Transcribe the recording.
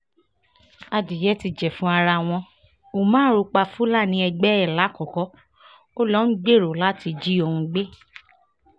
adìẹ́ ti jẹ̀fun ara wọn umar pa fúlàní ẹgbẹ́ ẹ̀ làkọ́kọ́ ó lọ ń gbèrò láti jí òun gbé